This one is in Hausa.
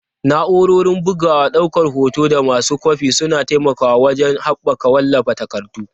Na'urorin bugawa, daukar hoto, da masu kwafi suna taimakawa wajen haɓaka wallafa takardu.